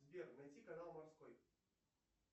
сбер найти канал морской